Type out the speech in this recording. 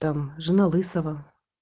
там жена лысого